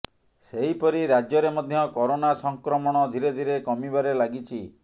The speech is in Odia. ସେହିପରି ରାଜ୍ୟରେ ମଧ୍ୟ କରୋନା ସଂକ୍ରମଣ ଧୀରେ ଧୀରେ କମିବାରେ ଲାଗିଛି